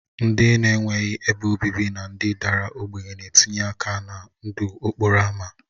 Ndị na-enweghị ebe obibi na ndị dara ogbenye na-etinye aka na ndụ okporo ámá